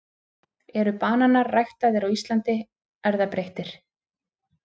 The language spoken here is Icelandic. eru bananar ræktaðir á íslandi erfðabreyttir